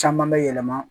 Caman bɛ yɛlɛma